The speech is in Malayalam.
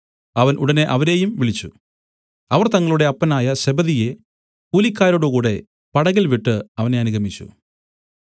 അവൻ ഉടനെ അവരെയും വിളിച്ചു അവർ തങ്ങളുടെ അപ്പനായ സെബെദിയെ കൂലിക്കാരോടുകൂടെ പടകിൽ വിട്ടു അവനെ അനുഗമിച്ചു